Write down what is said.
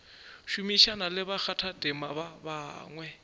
šomišana le bakgathatema ba bangwe